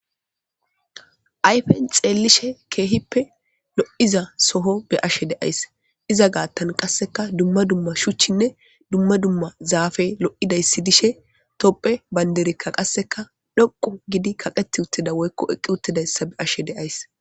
Ayfen xeellishe keehippe lo7iza soho be ashe deays iza gaattan qasseka dumma dumma shuchinne dumma dumma zaafey lo7idayssi dishe topphe baynderekka qasseka dhoqu gidi kaqeti uttida woykko eqqi uttidayssa be ashe deays.